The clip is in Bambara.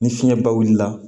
Ni fiɲɛ ba wulila